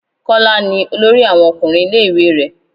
Kọ́lá ni olórí àwọn ọkùnrin ilé ìwé rẹ.